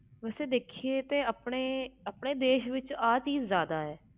ਵੈਸੇ ਦੇਖੀਏ ਤਾ ਆਹ ਚੀਜ਼ ਸਾਡੇ ਦੇਸ ਵਿਚ ਜਿਆਦਾ ਆ